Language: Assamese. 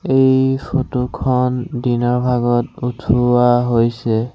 এই ফটো খন দিনৰ ভাগত উঠোৱা হৈছে।